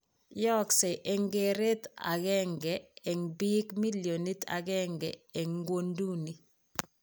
Yayakse eng' keretap aeng'e eng' biik milionit aeng'e eng ng'wonynduni.